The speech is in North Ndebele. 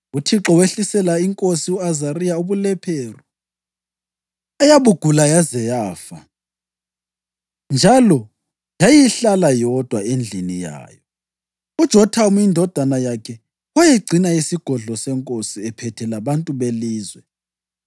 UThixo wehlisela inkosi u-Azariya ubulephero eyabugula yaze yafa, njalo yayihlala yodwa endlini yayo. UJothamu indodana yakhe wayegcina isigodlo senkosi, ephethe labantu belizwe.